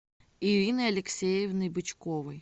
ириной алексеевной бычковой